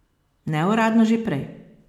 Neuradno že prej.